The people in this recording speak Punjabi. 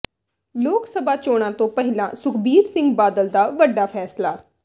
ਲੋਕ ਸਭਾ ਚੋਣਾਂ ਤੋਂ ਪਹਿਲਾਂ ਸੁਖਬੀਰ ਸਿੰਘ ਬਾਦਲ ਦਾ ਵੱਡਾ ਫੈਸਲਾ